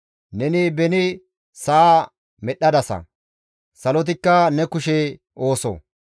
Neni beni sa7a medhdhadasa; salotikka ne kushe ooso.